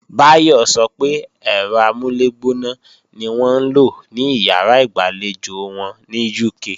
Báyọ̀ sọ pé ẹ̀rọ amúlẹ̀gbóná ni wọ́n ń lò ní ìyàrá ìgbàlejò wọn ní UK